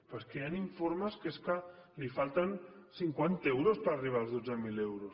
però és que hi han informes que és que els falten cinquanta euros per arribar als dotze mil euros